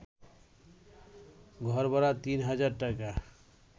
ঘরভাড়া তিন হাজার টাকা